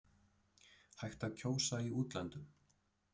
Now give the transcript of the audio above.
Hægt að kjósa í útlöndum